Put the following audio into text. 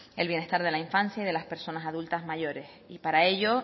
el bienestar de la infancia y de las personas adultas mayores y para ello